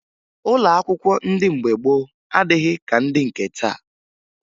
Ụlọ akwụkwọ ndị mgbe gboo adịghị ka ndị nke taa